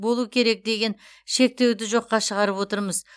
болу керек деген шектеуді жоққа шығарып отырмыз